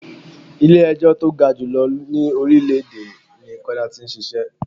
Ilẹ̀ ẹjọ́ tó ga jù lọ ní orílè èdè ní Kọ́lá tí ń ṣíṣe.